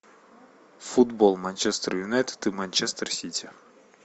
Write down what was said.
футбол манчестер юнайтед и манчестер сити